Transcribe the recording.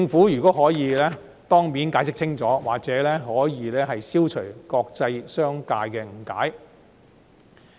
如果可以，政府應該當面解釋清楚，或許可以消除國際商界的誤解。